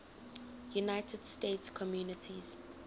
united states communities